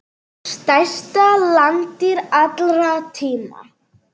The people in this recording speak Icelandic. Stærsta landdýr allra tíma.